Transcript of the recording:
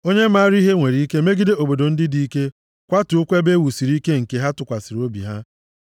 Onye maara ihe nwere ike megide obodo ndị dike, kwatuokwa ebe ewusiri ike nke ha tụkwasịrị obi ha.